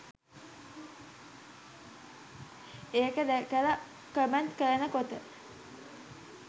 ඒක දැකලා කමෙන්ට් කරන කොට